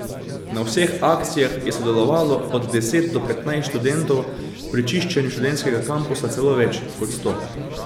Na vseh akcijah je sodelovalo od deset do petnajst študentov, pri čiščenju študentskega kampusa celo več kot sto.